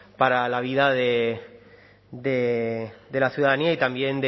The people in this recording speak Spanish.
para la vida de la ciudadanía y también